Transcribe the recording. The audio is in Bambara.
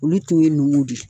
Olu tun ye nugu de ye